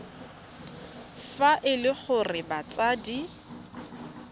fa e le gore batsadi